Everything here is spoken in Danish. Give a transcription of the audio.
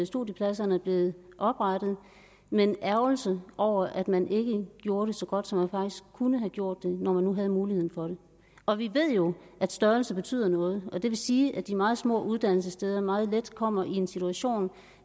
studiepladserne er blevet oprettet men ærgelse over at man ikke gjorde det så godt som man kunne have gjort det når man nu havde mulighed for det og vi ved jo at størrelse betyder noget og det vil sige at de meget små uddannelsessteder meget let kommer i en situation